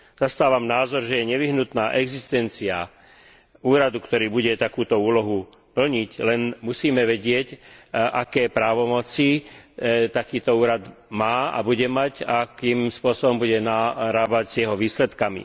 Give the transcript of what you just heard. Zastávam názor, že je nevyhnutná existencia úradu, ktorý bude takúto úlohu plniť, len musíme vedieť, aké právomoci takýto úrad má a bude mať a akým spôsobom sa bude narábať s jeho výsledkami.